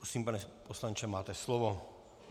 Prosím, pane poslanče, máte slovo.